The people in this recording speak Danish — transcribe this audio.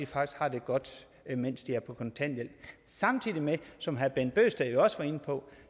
faktisk har det godt mens de er på kontanthjælp samtidig med at vi som herre bent bøgsted jo også var inde på